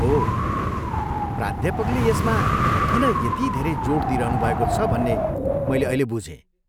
ओह, प्राध्यापकले यसमा किन यति धेरै जोड दिइरहनुभएको छ भन्ने मैले अहिले बुझेँ।